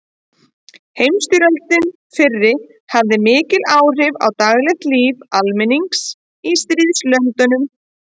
Heimsstyrjöldin fyrri hafði mikil áhrif á daglegt líf almennings í stríðslöndunum.